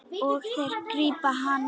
Og þeir grípa hana.